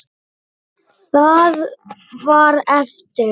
Það var eftir.